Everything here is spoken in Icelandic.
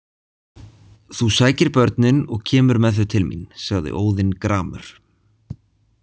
Þú sækir börnin og kemur með þau til mín, sagði Óðinn gramur.